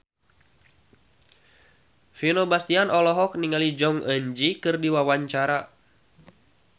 Vino Bastian olohok ningali Jong Eun Ji keur diwawancara